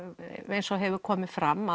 eins og hefur komið fram